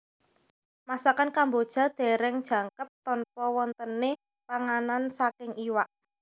Masakan Kamboja dereng jangkep tanpa wontene panganan saking iwak